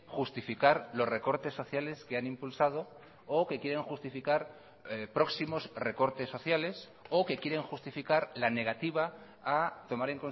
justificar los recortes sociales que han impulsado o que quieren justificar próximos recortes sociales o que quieren justificar la negativa a tomar